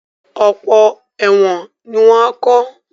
Ọ̀pọ̀ ẹ̀wọ̀n ni wọ́n á kọ́